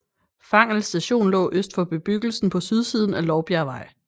Fangel Station lå øst for bebyggelsen på sydsiden af Lovbjergvej